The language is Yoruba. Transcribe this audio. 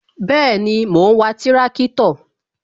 Bẹẹni, mo ń wa tirakitọ